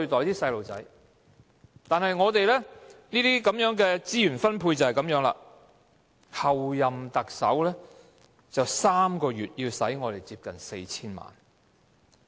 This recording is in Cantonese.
然而，我們的資源分配就是這樣，候任特首可以在3個月內花費接近 4,000 萬元。